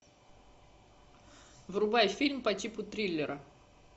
врубай фильм по типу триллера